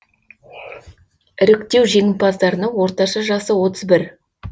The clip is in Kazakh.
іріктеу жеңімпаздарының орташа жасы отыз бір